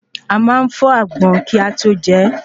A máa n fó àgbọn kí a tó je